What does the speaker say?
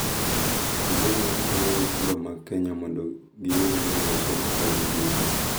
Kendo oganda konyo nyithindo mag Kenya mondo giyud ng’eyo somo kod ndiko